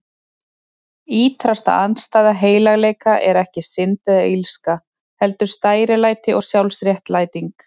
Ýtrasta andstæða heilagleika er ekki synd eða illska, heldur stærilæti og sjálfsréttlæting.